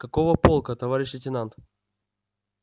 какого полка товарищ лейтенант